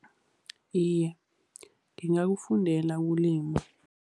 Iye, ngingakufundela ukulima.